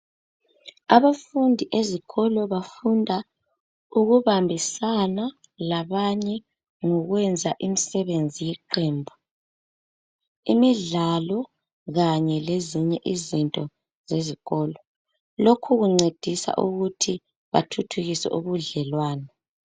Abafundi ezikolo bafunda ukubambisana labanye ngokwenza imisebenzi yeqembu imidlalo kanye lezinye izinto zezikolo. Lokhu ukuncedisa ukuthi bathuthukise ubudlelwano.